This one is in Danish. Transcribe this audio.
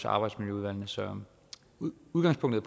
arbejdsmiljøudvalgene så udgangspunktet